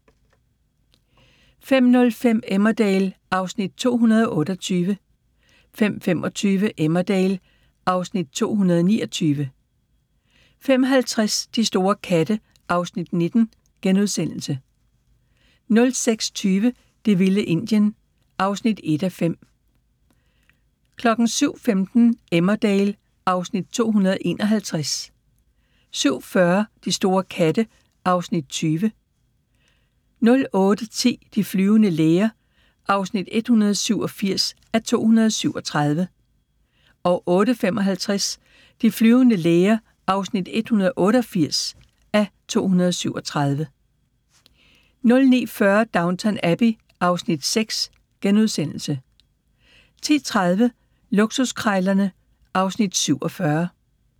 05:05: Emmerdale (Afs. 228) 05:25: Emmerdale (Afs. 229) 05:50: De store katte (Afs. 19)* 06:20: Det vilde Indien (1:5) 07:15: Emmerdale (Afs. 251) 07:40: De store katte (Afs. 20) 08:10: De flyvende læger (187:237) 08:55: De flyvende læger (188:237) 09:40: Downton Abbey (Afs. 6)* 10:30: Luksuskrejlerne (Afs. 47)